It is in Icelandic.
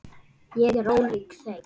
Ég er ólík þeim.